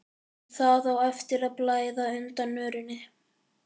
En það á eftir að blæða undan örinni.